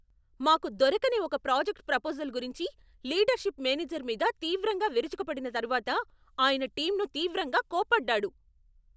మాకు దొరకని ఒక ప్రాజెక్ట్ ప్రపోజల్ గురించి లీడర్షిప్ మేనేజర్ మీద తీవ్రంగా విరుచుకుపడిన తరువాత, ఆయన టీంను తీవ్రంగా కోప్పడ్డాడు.